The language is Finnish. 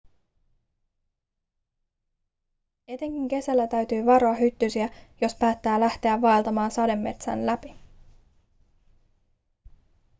etenkin kesällä täytyy varoa hyttysiä jos päättää lähteä vaeltamaan sademetsän läpi